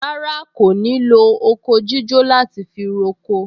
Rárá, kò ní lo oko jíjó láti fi roko